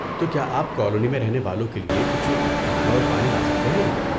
تو کیا آپ کالونی میں رہنے والوں کے لیے کچھ کھانا اور پانی لا سکتے ہیں۔